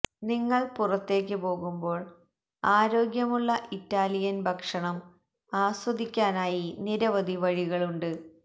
നിങ്ങൾ പുറത്തേക്ക് പോകുമ്പോൾ ആരോഗ്യമുള്ള ഇറ്റാലിയൻ ഭക്ഷണം ആസ്വദിക്കാനായി നിരവധി വഴികളുണ്ട്